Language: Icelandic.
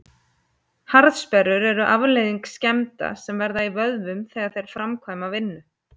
Harðsperrur eru afleiðing skemmda sem verða í vöðvum þegar þeir framkvæma vinnu.